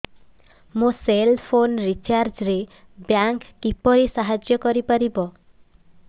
ମୋ cell phone recharge ରେ bank କିପରି ସାହାଯ୍ୟ କରିପାରିବ